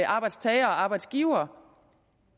arbejdstagere og arbejdsgivere